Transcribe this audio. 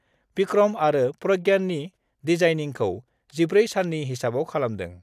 भिक्रम आरो प्रज्ञाननि डिजाइनिंखौ 14 साननि हिसाबाव खालामदों।